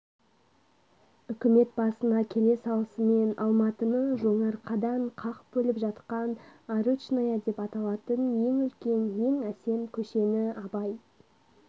үкімет басына келе салысымен алматыны жоңарқадан қақ бөліп жатқан арычная деп аталатын ең үлкен ең әсем көшені абай